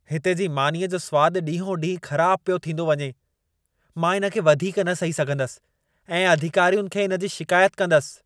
हिते जी मानीअ जो स्वाद ॾींहो-ॾींह ख़राब पियो थींदी वञे। मां इन खे वधीक न सही सघंदसि ऐं अधिकारियुनि खे इन जी शिकायत कंदसि।